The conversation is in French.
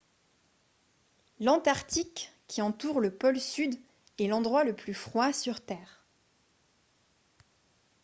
l'antarctique qui entoure le pôle sud est l'endroit le plus froid sur terre